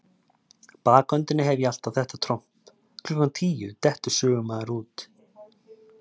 bakhöndinni hef ég alltaf þetta tromp: klukkan tíu dettur sögumaður út.